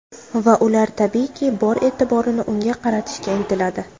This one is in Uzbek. Va ular tabiiyki, bor e’tiborni unga qaratishga intiladi.